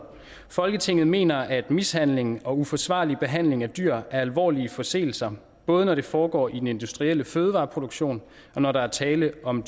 folketinget mener at mishandling og uforsvarlig behandling af dyr er alvorlige forseelser både når det foregår i den industrielle fødevareproduktion og når der er tale om